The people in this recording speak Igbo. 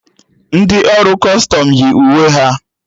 Ndị ọrụ Kọstọm yi uwe ha